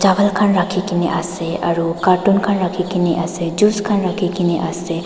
Chapel khan rakhe kena ase aro cartoon khan rakhe kena ase juice khan rakhe kena ase.